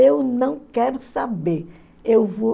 Eu não quero saber. Eu vou